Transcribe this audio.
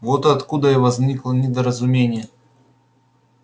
вот откуда и возникло недоразумение